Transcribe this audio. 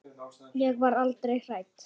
Ég var aldrei hrædd.